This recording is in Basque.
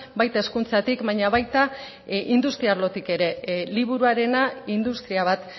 baita hezkuntzatik baina baita industria arlotik ere liburuarena industria bat